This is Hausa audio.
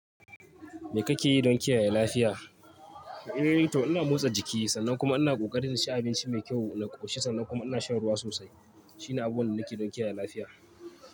Me kake yi don kiyaye lafiya? Eh to ina motsa jiki, sannan kuma ina ƙoƙari inci abinci mai kyau na ƙoshi sannan kuma ina shan ruwa sosai. Shi ne abin da nake yi don kiyaye lafiya.